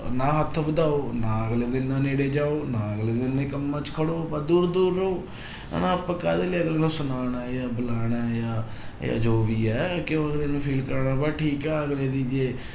ਨਾ ਹੱਥ ਵਧਾਓ ਨਾ ਅਗਲੇ ਦੇ ਇੰਨਾ ਨੇੜੇ ਜਾਓ, ਨਾ ਅਗਲੇ ਦੇ ਇੰਨੇ ਕੰਮਾਂ 'ਚ ਖੜੋ ਬਸ ਦੂਰ ਦੂਰ ਰਹੋ ਹਨਾ ਆਪਾਂ ਕਾਹਦੇ ਲਈ ਅਗਲੇ ਨੂੰ ਸੁਨਾਉਣਾ ਹੈ ਜਾਂ ਬੁਲਾਉਣਾ ਜਾਂ ਜਾਂ ਜੋ ਵੀ ਹੈ ਕਿਉਂ ਅਗਲੇ ਨੂੰ feel ਕਰਵਾਉਣਾ ਬਸ ਠੀਕ ਹੈ ਅਗਲੇ ਦੀ ਜੇ